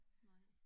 Nej